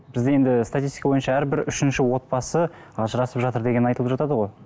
бізде енді статистика бойынша әрбір үшінші отбасы ажырасып жатыр деген айтылып жатады ғой